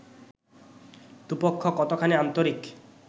দু'পক্ষ কতখানি আন্তরিক